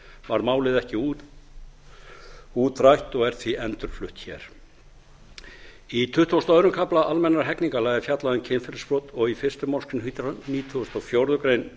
var málið ekki útrætt og er því endurflutt hér í tuttugasta og öðrum kafla almennra hegningarlaga er fjallað um kynferðisbrot og fyrstu málsgrein hundrað nítugasta og fjórðu grein